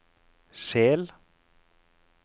Sel